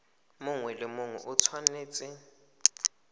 mongwe le mongwe o tshwanetse